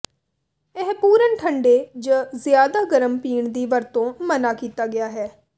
ਇਹ ਪੂਰਨ ਠੰਡੇ ਜ ਜ਼ਿਆਦਾ ਗਰਮ ਪੀਣ ਦੀ ਵਰਤੋ ਮਨ੍ਹਾ ਕੀਤਾ ਗਿਆ ਹੈ